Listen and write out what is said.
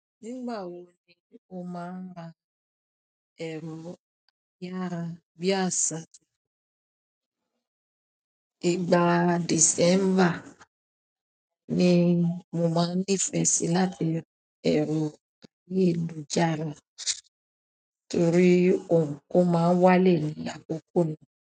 Nígbà wo ni o ma n ra ero ayarabiasa. Ìgbà December ni mo máa ń nífẹ̀ẹ́ sí láti ra ẹ̀rọ ayélujára torí nkan máa ń wálẹ̀ ní àkókò náà.